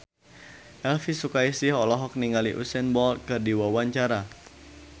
Elvi Sukaesih olohok ningali Usain Bolt keur diwawancara